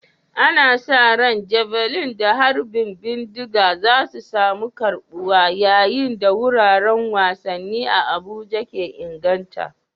Ana sa ran Javelin da harbin bindiga za su samu karbuwa yayin da wuraren wasanni a Abuja ke inganta.